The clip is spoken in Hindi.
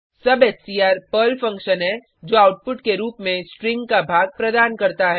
सबस्ट्र पर्ल फंक्शन है जो आउटपुट के रूप में स्ट्रिंग का भाग प्रदान करता है